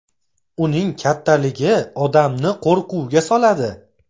Uning kattaligi odamni qo‘rquvga soladi.